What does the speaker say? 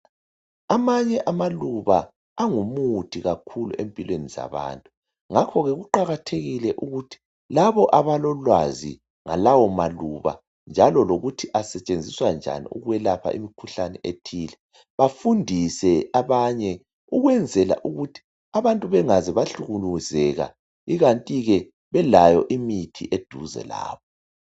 amanye amaluba angumuthi kakhulu empilweni zabantu ngakho ke kuqakathekile ukuthi labo abalolwazi ngalawo maluba njalo lokuthi asetshenziswa njani ukwelapha imikhuhlane ethile bafundise abanye ukwenzela ukuthi abantu bengaze bahlukuluzeka ikanti ke belayo imithi eduze lapha